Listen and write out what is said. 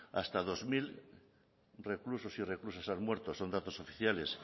hasta dos mil reclusos y reclusas han muerto son datos oficiales